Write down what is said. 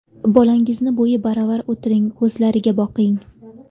Bolangizni bo‘yi baravar o‘tiring, ko‘zlariga boqing.